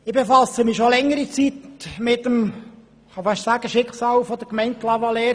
Ich befasse mich seit längerer Zeit mit dem «Schicksal» der Gemeinde Clavaleyres.